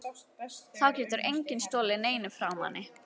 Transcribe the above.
Þá getur enginn stolið neinu frá manni.